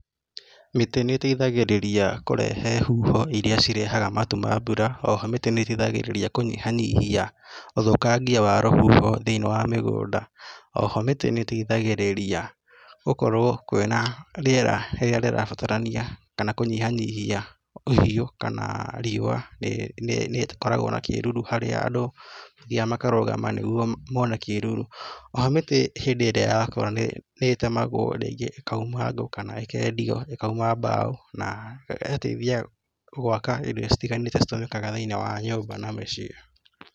Mĩtĩ nĩteithagĩrĩria kũrehe huho iria cirehaga matu ma mbura. Oho mĩtĩ nĩteithagĩrĩria kũnyiha nyihia ũthũkangia wa rũhuho thĩinĩ wa mĩgũnda. Oho mĩtĩ nĩteithagĩrĩria gũkorwo kwĩ na rĩera rĩrĩa rĩrabatarania kana kũnyihanyihia ũhiũ kana riua, nĩĩ nĩĩ nĩkoragwo na kĩruru harĩa arũ mathiaga makarũgama nigũo mone kĩruru. Oho mĩtĩ hĩndĩ ĩrĩa yakũra nĩ nĩtemagwo rĩngĩ ĩkauma ngũ kana ĩkendio ĩkauma mbaũ na ĩgateithia gwaka indo citiganĩte citũmĩkaga thĩinĩ wa nyũmba na mĩciĩ.